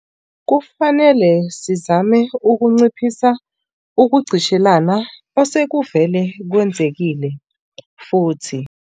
Kufanele sizame ukunciphisa ukugqishelana osekuvele kwenzekile, futhi